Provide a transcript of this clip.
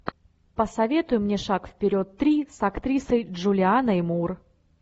посоветуй мне шаг вперед три с актрисой джулианой мур